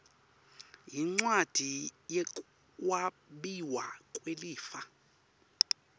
yincwadzi yekwabiwa kwelifa